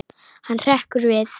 Hann hrekkur við.